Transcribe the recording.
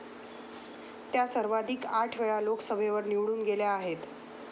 त्या सर्वांधिक आठवेळा लोकसभेवर निवडून गेल्या आहेत.